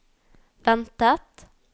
ventet